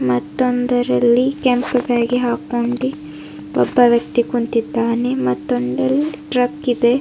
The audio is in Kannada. ಮತ್ತೊಂದರಲ್ಲಿ ಕೆಂಪ್ ಬ್ಯಾಗೆ ಆಕೊಂಡಿ ಒಬ್ಬ ವ್ಯಕ್ತಿ ಕುಂತಿದ್ದಾನೆ ಮತ್ತೊಂದು ಅಲ್ಲಿ ಟ್ರಕ್ ಇದೆ.